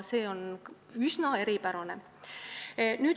Need on üsna eripärased.